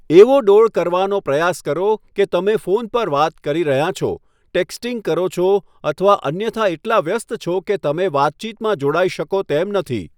એવો ડોળ કરવાનો પ્રયાસ કરો કે તમે ફોન પર વાત કરી રહ્યાં છો, ટેક્સ્ટિંગ કરો છો અથવા અન્યથા એટલા વ્યસ્ત છો કે તમે વાતચીતમાં જોડાઈ શકો તેમ નથી.